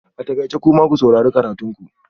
A takaice! kuma ku saurari karatun ku